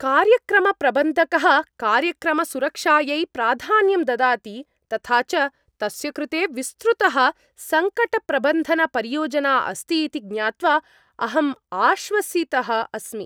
कार्यक्रमप्रबन्धकः कार्यक्रमसुरक्षायै प्राधान्यं ददाति तथा च तस्य कृते विस्तृतः सङ्कटप्रबन्धनपरियोजना अस्ति इति ज्ञात्वा अहम् आश्वसितः अस्मि।